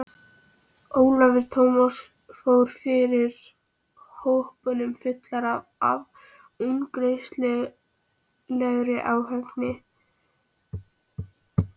Ólafur Tómasson fór fyrir hópnum fullur af ungæðislegri ákefð.